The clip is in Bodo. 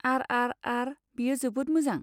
आर आर आर, बेयो जोबोद मोजां।